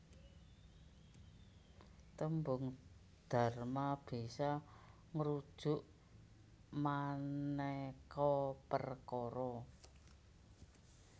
Tembung dharma bisa ngrujuk manéka perkara